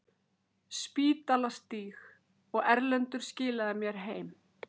Spítalastíg, og Erlendur skilaði mér heim!